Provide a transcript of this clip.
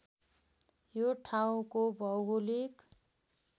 यो ठाउँको भौगोलिक